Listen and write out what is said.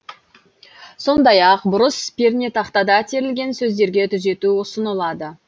сондай ақ бұрыс пернетақтада терілген сөздерге түзету ұсынылады